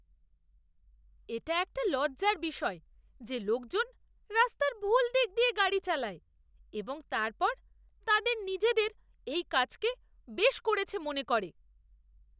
এটা একটা লজ্জার বিষয় যে লোকজন রাস্তার ভুল দিক দিয়ে গাড়ি চালায় এবং তারপর তাদের নিজেদের এই কাজকে বেশ করেছে মনে করে!